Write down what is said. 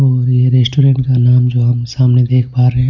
और ये रेस्टोरेंट का नाम जो हम सामने देख पा रहे हैं.